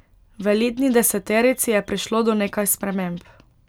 V elitni deseterici je prišlo do nekaj sprememb.